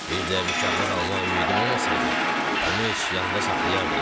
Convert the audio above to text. Bir də mükafat almaq ümidim olmasaydı, onu heç yanımda saxlayardım?